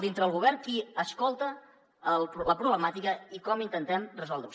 dintre del govern qui escolta la problemàtica i com intentem resoldre ho